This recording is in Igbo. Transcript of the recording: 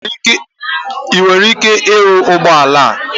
Ị nwere ike ịrụ ụgbọ ala?